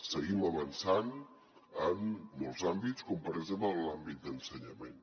seguim avançant en molts àmbits com per exemple en l’àmbit d’ensenyament